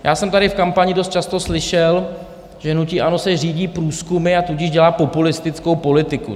Já jsem tady v kampani dost často slyšel, že hnutí ANO se řídí průzkumy, a tudíž dělá populistickou politiku.